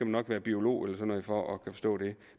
nok være biolog eller sådan noget for at kunne forstå det